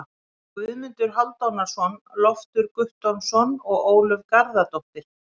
Guðmundur Hálfdanarson, Loftur Guttormsson og Ólöf Garðarsdóttir.